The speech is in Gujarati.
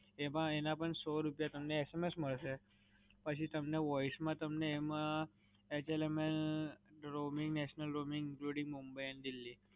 એમાં એના પણ સો રૂપિયા તમને SMS મલસે, પછી તમને voice માં તમને એમાં એચએલએમએલ, roming, national roaming including, Mumbai and Delhi.